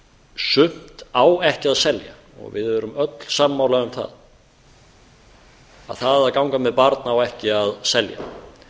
sumt á ekki að selja við erum öll sammála um að það að ganga með barn á ekki að selja